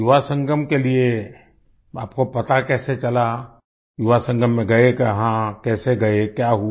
युवा संगम के लिए आपको पता कैसे चला युवा संगम में गए कहाँ कैसे गए क्या हुआ